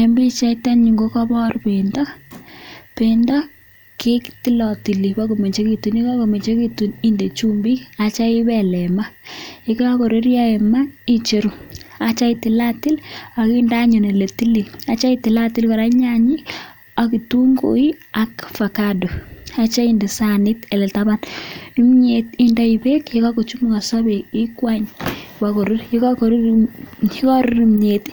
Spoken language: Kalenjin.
En pichait en yu kokobor bendo. Bendo ketilotili bago mengekitun, ye kagomengekitun inde chumbik ak kityo ibel en ma ye kagoruryo en ma icheru ak kityo itilatil ak inde anyun ole tilil. Ak kityo itilatil anyun nyanyik ak ketunguik ak avocado ak kityo inde sanit en taban. Kimyet indoi beek, ye kagochumukoso beek ikwany bagorur, ye kagorur kimyet